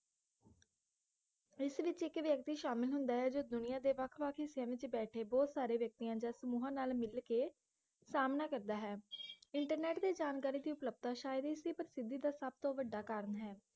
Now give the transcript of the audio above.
ਇਸ ਵਿਚ ਇੱਕ ਵ੍ਯਕਤੀ ਸ਼ਾਮਿਲ ਹੁੰਦਾ ਹੈ ਜੋ ਦੁਨੀਆਂ ਦੇ ਵੱਖ ਵੱਖ ਹਿੱਸਿਆਂ ਵਿਚ ਬੈਠੇ ਬਹੁਤ ਸਾਰੇ ਵਿਕਤੀਆਂ ਜਾਂ ਸਮੂਹ ਨਾਲ ਮਿੱਲ ਕੇ ਸਾਮਣਾ ਕਰਦਾ ਹੈ ਇੰਟਰਨੇਟ ਤੇ ਜਾਣਕਰੀ ਦੀ ਉਪਲਬਧਤਾ ਸ਼ਾਇਦ ਇਸੀ ਪ੍ਰਸਿੱਧੀ ਦਾ ਸਬਤੋਂ ਵੱਡਾ ਕਾਰਨ ਹੈ